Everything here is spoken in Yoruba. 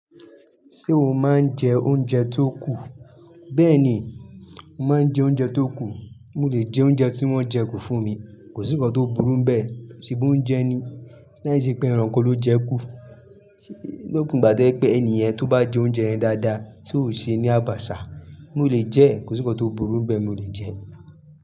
Ṣé o máa ń jẹ oúnjẹ tó kù? Bẹ́ẹ̀ ni, mo máa ń jẹ oúnjẹ tó kù. Mọ̀ lè jẹ oúnjẹ tí wọ́n jẹ kù fún mi, kò sí nǹkan tó burú bẹ́ẹ̀, ṣe bí oúnjẹ ni. Láìsí pé ẹranko ló jẹ kú. Lópin ìgbà tẹ́ pé ènìyen tó bá jẹ oúnjẹ yẹn dáadáa, tí ó ṣe é ní àbàṣà, mò lè jẹ ẹ́, kò sí nǹkan tó burú ń bẹ́ẹ̀, mò lè jẹ ẹ́.